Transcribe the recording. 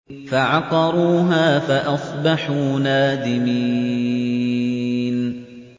فَعَقَرُوهَا فَأَصْبَحُوا نَادِمِينَ